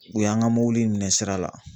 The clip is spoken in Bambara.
U y'an ka mɔbili in minɛ sira la.